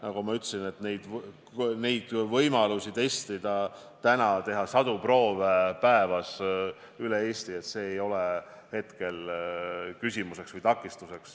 Nagu ma ütlesin, miski ei takista teha sadu proove päevas üle Eesti – see ei ole hetkel küsimus.